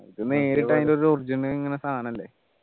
അത് നേരിട്ട് അതിൻ്റെ original ഇങ്ങനെ സാധനല്ലേ